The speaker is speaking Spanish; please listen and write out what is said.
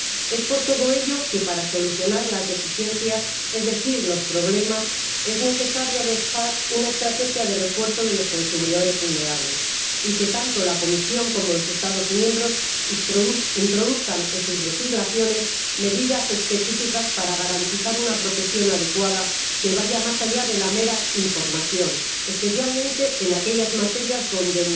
Es por todo ello que, para solucionar las deficiencias, es decir, los problemas, es necesario adoptar una estrategia de refuerzo de los consumidores vulnerables y que tanto la Comisión como los Estados miembros introduzcan en sus legislaciones medidas específicas para garantizar una protección adecuada, que vaya más allá de la mera información, especialmente en aquellas materias donde